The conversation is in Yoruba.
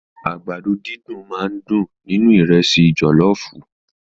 Àgbàdo dídùn máà ń dùn nínú ìrẹ́sì jọlọọfu.